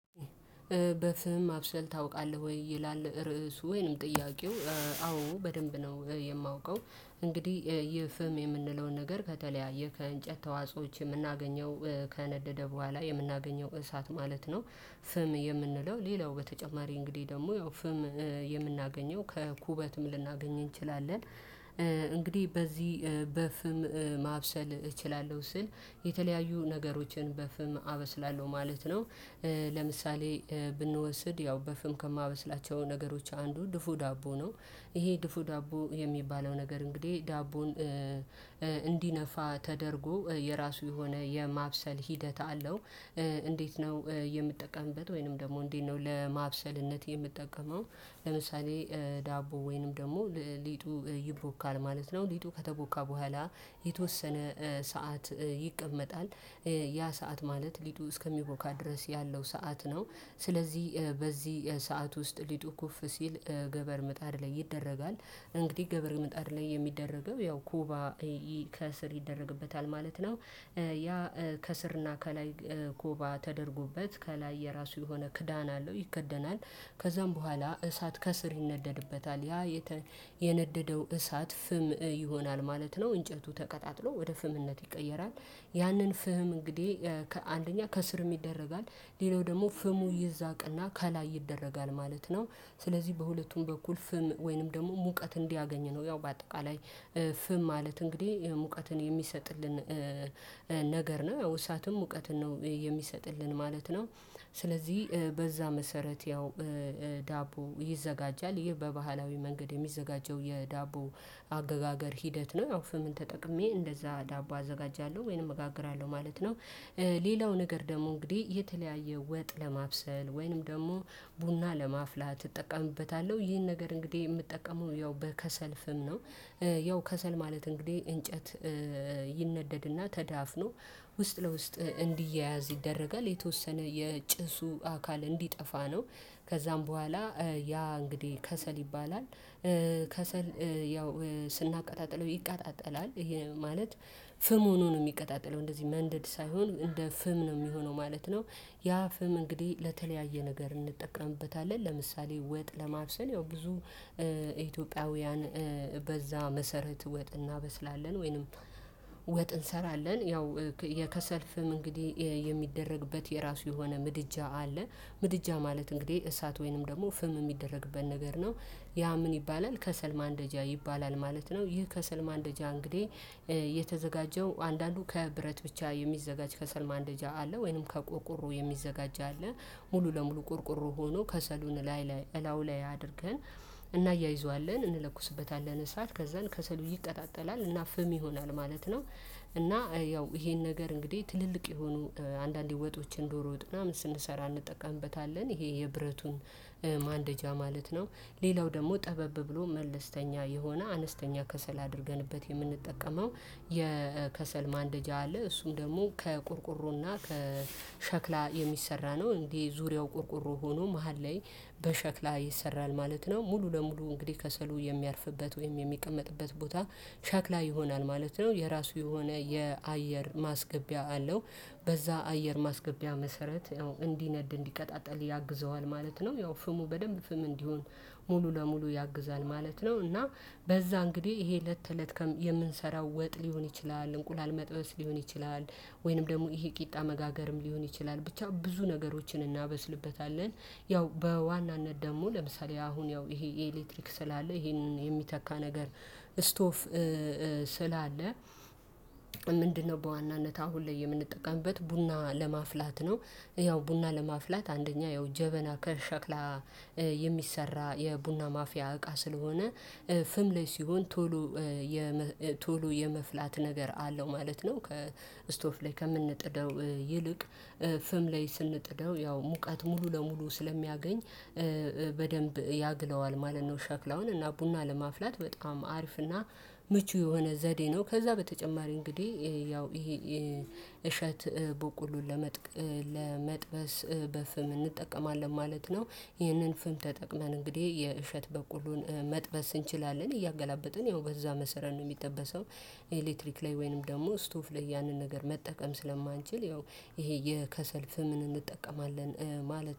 በፍም ማብሰል ታውቃለህ ወይ? ይላል ርዕሱ ወይንም ጥያቄው አዎ በደንብ ነው። የማውቀው እንግዲህ ይህ ፍም የምንለውን ነገር ከተለያዩ ከእንጨት ተዋጾዎች የምናገኘው ከነደደ በኋላ የምናገኘው እሳት ማለት ነው። ፍም የምንለው ሌላው በተጨማሪ እንግዲህ ደግሞ ያው ፍም የምናገኘው ከኩበትም ልናገኝ እንችላለን። እንግዲህ በዚህ በፍም ማብሰል እችላለሁ ስል የተለያዩ ነገሮችን በፍም አበስላለሁ ማለት ነው። ለምሳሌ ብንወስድ ያው በፍም ከማበስላቸው ነገሮች አንዱ ድፎ ዳቦ ነው። ይሄ ድፎ ዳቦ የሚባለው ነገር እንግዲህ ዳቦን እንዲነፋ ተደርጎ የራሱ የሆነ የማብሰል ሂደት አለው። ለምሳሌ ብንወስድ ያው በፍም ከማበስላቸው ነገሮች አንዱ ድፎ ዳቦ ነው። ይሄ ድፎ ዳቦ የሚባለው ነገር እንግዲህ ዳቦን ያ ሰዓት ማለት ሊጡ እስከሚቦካ ድረስ ያለው ሰዓት ነው። ስለዚህ በዚህ ሰዓት ውስጥ ሊጡ ኩፍ ሲል ገበር ምጣድ ላይ ይደረጋል። እንግዲህ ገበር ምጣድ ላይ የሚደረገው ያው ኮባ ከስር ይደረግበታል ማለት ነው። ያ ከስርና ከላይ ኮባ ተደርጎበት ከላይ የራሱ የሆነ ክዳን አለው ይከደናል። ከዛም በኋላ እሳት ከስር ይነደድበታል ያ የነደደው እሳት ፍም ይሆናል ማለት ነው እንጨቱ ተቀጣጥሎ ወደ ፍምነት ይቀየራል። ያንን ፍም እንግዲህ ከአንደኛ ከስርም ይደረጋል ሌላው ደግሞ ፍሙ ይዛቅና ከላይ ይደረጋል ማለት ነው። ስለዚህ በሁለቱም በኩል ፍም ወይንም ደግሞ ሙቀት እንዲያገኝ ነው ያው በአጠቃላይ ፍም ማለት እንግዲህ ሙቀትን የሚሰጥልን ነገር ነው እሳትም ሙቀትን ነው የሚሰጥልን ማለት ነው። ስለዚህ በዛ መሰረት ያው ዳቦ ይዘጋጃል ይሄ በባህላዊ መንገድ የሚዘጋጀው የዳቦ አገጋገር ሂደት ነው። አዎ ፍም ተጠቅሜ እንደዛ ዳቦ አዘጋጃለሁ ወይንም እጋግራለሁ ማለት ነው። ሌላው ነገር ደግሞ እንግዲህ የተለያየ ወጥ ለማብሰል ወይንም ደግሞ ቡና ለማፍላት እጠቀምበታለሁ ይህን ነገር እንግዲህ የምጠቀመው ያው በከሰል ፍም ነው። ያው ከሰል ማለት እንግዲህ እንጨት ይነደድና ተዳፍኖ ውስጥ ለውስጥ እንዲያያዝ ይደረጋል የተወሰነ የጭሱ አካል እንዲጠፋ ነው። ከዛም በኋላ ያ እንግዲህ ከሰል ይባላል። ከሰል ያው ስናቀጣጥለው ይቃጠላል ይሄ ማለት ፍም ሆኖ ነው የሚቀጣጠለው እንደዚህ መንደድ ሳይሆን እንደ ፍም ነው የሚሆነው ማለት ነው። ያ ፍም እንግዲህ ለተለያየ ነገር እንጠቀምበታለን ለምሳሌ ወጥ ለማብሰል ያው ብዙ ኢትዮጵያውያን በዛ መሰረት ወጥ እናበስላለን ወይንም ወጥ እንሰራለን ያው የከሰል ፍም እንግዲህ የሚደረግበት የራሱ የሆነ ምድጃ አለ። ምድጃ ማለት እንግዲህ እሳት ወይንም ደግሞ ፍም የሚደረግበት ነገር ነው። ያ ምን ይባላል? ከሰል ማንደጃ ይባላል ማለት ነው። ይህ ከሰል ማንደጃ እንግዲህ የተዘጋጀው አንዳንዱ ከብረት ብቻ የሚዘጋጅ ከሰል ማንደጃ አለ ወይንም ከቆርቁሮ የሚዘጋጅ አለ። ሙሉ ለሙሉ ቆርቆሮ ሆኖ ከሰሉን ላይ ላይ እላው ላይ አድርገን እናያይዘዋለን እንለኩስበታለን እሳት ከዛን ከሰሉ ይቃጠላል እና ፍም ይሆናል ማለት ነው። እና ያው ይሄን ነገር እንግዲህ ትልልቅ የሆኑ አንዳንዴ ወጦችን ዶሮ ወጥና ምን ስንሰራ እንጠቀምበታለን ይሄ የብረቱን ማንደጃ ማለት ነው። ሌላው ደግሞ ጠበብ ብሎ መልስተኛ የሆነ አነስተኛ ከሰል አድርገንበት የምንጠቀመው የከሰል ማንደጃ አለ። እሱም ደግሞ ከቆርቆሮ ና ከሸክላ የሚሰራ ነው እንዴ? ዙሪያው ቆርቆሮ ሆኖ መሃል ላይ በሸክላ ይሰራል ማለት ነው። ሙሉ ለሙሉ እንግዲህ ከሰሉ የሚያርፍበት ወይም የሚቀመጥበት ቦታ ሸክላ ይሆናል ማለት ነው። የራሱ የሆነ የአየር ማስገቢያ አለው። በዛ አየር ማስገቢያ መሰረት ነው እንዲነድ እንዲቀጣጠል ያግዘዋል ማለት ነው። ያው ፍሙ በደንብ ፍም እንዲሆን ሙሉ ለሙሉ ያግዛል ማለት ነው። እና በዛ እንግዲህ ይሄ ለት ከለት የምንሰራው ወጥ ሊሆን ይችላል እንቁላል መጥበስ ሊሆን ይችላል ወይንም ደግሞ ይሄ ቂጣ መጋገርም ሊሆን ይችላል ብቻ ብዙ ነገሮችን እናበስልበታለን። ያው በዋናነት ደግሞ ለምሳሌ አሁን ያው ይሄ የኤሌክትሪክ ስላለ ይሄንን የሚተካ ነገር ስቶፍ ስላለ ምንድነው? በዋናነት አሁን ላይ የምንጠቀምበት ቡና ለማፍላት ነው። ያው ቡና ለማፍላት አንደኛ ያው ጀበና ከሸክላ የሚሰራ የቡና ማፍያ እቃ ስለሆነ ፍም ላይ ሲሆን ቶሎ ቶሎ የመፍላት ነገር አለው ማለት ነው። ከስቶፍ ላይ ከምንጥደው ይልቅ ፍም ላይ ስንጥደው ያው ሙቀት ሙሉ ለሙሉ ስለሚያገኝ በደንብ ያግለዋል ማለት ነው። ሸክላውን እና ቡና ለማፍላት በጣም አሪፍ ና ምቹ የሆነ ዘዴ ነው። ከዛ በተጨማሪ እንግዲህ ያው ይሄ እሸት በቆሎን ለመጥበስ በፍም እንጠቀማለን ማለት ነው። ይህንን ፍም ተጠቅመን እንግዲህ የእሸት በቆሎን መጥበስ እንችላለን እያገላበጥን ያው በዛ መሰረት ነው የሚጠበሰው። ኤሌክትሪክ ላይ ወይንም ደግሞ እስቶፍ ላይ ያንን ነገር መጠቀም ስለማንችል ያው ይሄ የከሰል ፍምን እንጠቀማለን። ማለት